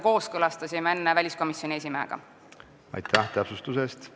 Aitäh täpsustuse eest!